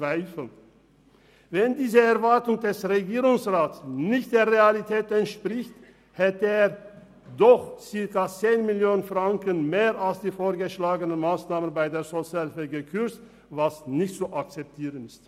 Wenn diese Erwartung des Regierungsrats nicht der Realität entspricht, hätte er doch rund 10 Mio. Franken mehr als die vorgeschlagenen Massnahmen bei der Sozialhilfe gekürzt, was nicht akzeptabel ist.